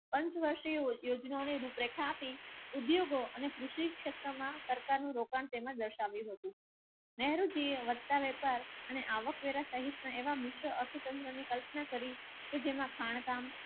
પાંચ વર્ષોને યોજનાઓ ને રૂપ રેખા આપી ઉદ્યોગો અને કૃષિ ક્ષેત્ર માં સરકાર નું દર્શાવ્યું હતું. અને આવકવેરા સહિતના એવા મિશ્ર અર્થતંત્રની કલ્પના કરી કે જેમાં